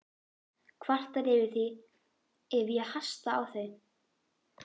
Kvartar yfir því ef ég hasta á þau.